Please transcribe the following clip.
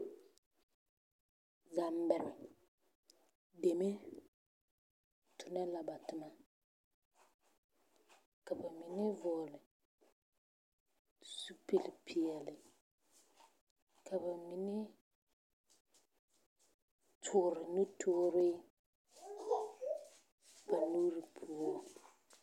Zambɛre deme tona la ba toma ka bamine vɔgele zupili peɛle ka bamine toore nu toore ba nuuri poɔ.